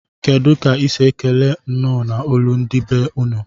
Kedu ka isi ekele nnọ na olu ndi be unu?